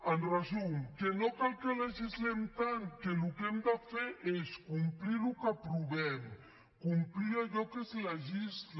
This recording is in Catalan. en resum que no cal que legislem tant que el que hem de fer és complir el que aprovem complir allò que es legisla